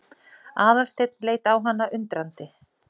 Aðalsteinn leit á hana undrandi.